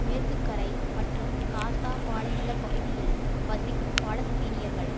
மேற்குக்கரை மற்றும் காசா பாலை நில பகுதியில் வசிக்கும் பாலஸ்தீனியர்கள்